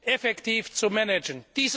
effektiv zu managen.